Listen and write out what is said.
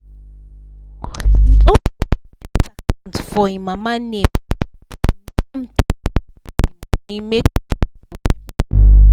he open one savings account for him mama name to name to hide the money make people no put eye.